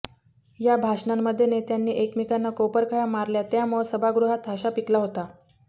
या भाषणांमध्ये नेत्यांनी एकमेकांना कोपरखळ्या मारल्या त्यामुळं सभागृहात हशा पिकला होता